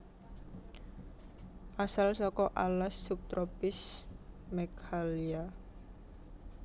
Asal saka alas subtropis Meghalya